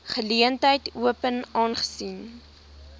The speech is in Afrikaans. geleentheid open aangesien